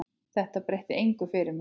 Þetta breytir engu fyrir mig.